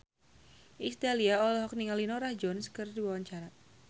Iis Dahlia olohok ningali Norah Jones keur diwawancara